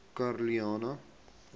karolina